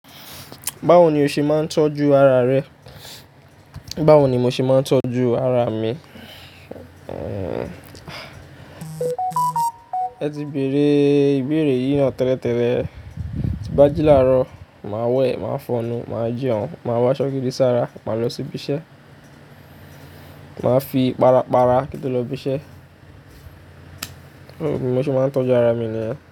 Báwo ni o ṣe máa ń tọ́jú ara rẹ? Báwo ni mo ṣe máa ń tọ́jú ara mi? E ti bèèrè ìbéèrè yìí náà tẹ́lẹ̀tẹ́lẹ̀. Ti bá ji láàárọ̀, màá wẹ̀, màá fọnnu, màá jẹun, màá wá ṣọ́gidì sára, màá lọ sí ibi iṣẹ́. Màá fi ipára pára kí n tó lọ ibi iṣẹ́. So bi mo ṣe máa ń tọ́jú ara mi niyen.